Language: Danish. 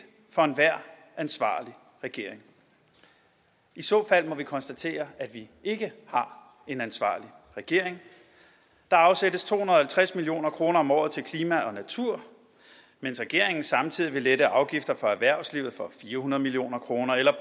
for enhver ansvarlig regering i så fald må vi konstatere at vi ikke har en ansvarlig regering der afsættes to hundrede og halvtreds million kroner om året til klima og natur mens regeringen samtidig vil lette afgifter for erhvervslivet for fire hundrede million kroner eller